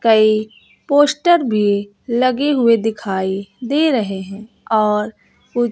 कई पोस्टर भी लगे हुए दिखाई दे रहे हैं और कु--